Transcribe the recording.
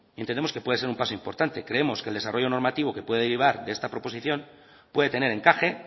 entendemos que puede ser un paso importante creemos que el desarrollo normativo que puede derivar de esta proposición puede tener encaje